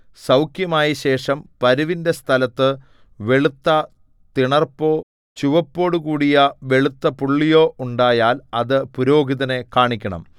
സൗഖ്യമായശേഷം പരുവിന്റെ സ്ഥലത്തു വെളുത്ത തിണർപ്പോ ചുവപ്പോടുകൂടിയ വെളുത്ത പുള്ളിയോ ഉണ്ടായാൽ അത് പുരോഹിതനെ കാണിക്കണം